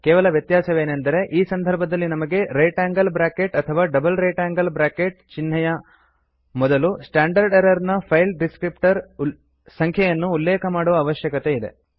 ಕೇವಲ ವ್ಯತ್ಯಾಸವೇನೆಂದರೆ ಈ ಸಂಧರ್ಭದಲ್ಲಿ ನಮಗೆ ರೈಟ್ ಆಂಗಲ್ ಬ್ರ್ಯಾಕೆಟ್ ಅಥವಾ ಡಬಲ್ ರೈಟ್ ಆಂಗಲ್ ಬ್ರ್ಯಾಕೆಟ್ ಚಿಹ್ನೆ ಯ ಮೊದಲು ಸ್ಟ್ಯಾಂಡರ್ಡ್ ಎರರ್ ನ ಫೈಲ್ ಡಿಸ್ಕ್ರಿಪ್ಟರ್ ಸಂಖ್ಯೆಯನ್ನು ಉಲ್ಲೇಖ ಮಾಡುವ ಅವಶ್ಯಕತೆ ಇದೆ